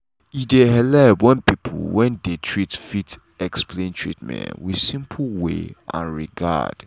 e dey helep when people when dey treat fit explain treatment with simple way and regard.